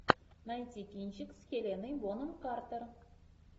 найти кинчик с хеленой бонем картер